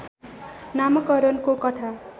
नामाकरणको कथा